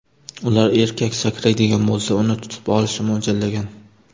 Ular erkak sakraydigan bo‘lsa, uni tutib olishni mo‘ljallagan.